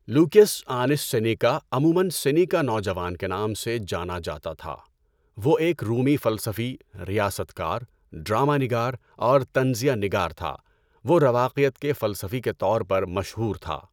Lucius Annaeus Seneca عموماً Seneca نوجوان کے نام سے جانا جاتا تھا۔ وہ ایک رومی فلسفی، ریاست کار، ڈرامہ نگار، اور طنزیہ نگار تھا۔ وہ رواقیت کے فلسفی کے طور پر مشہور تھا۔